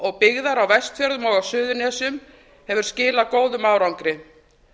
og byggðar á vestfjörðum og á suðurnesjum hefur skilað góðum árangri